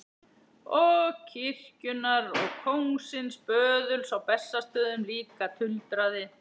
Og kirkjunnar og kóngsins böðuls á Bessastöðum líka, tuldraði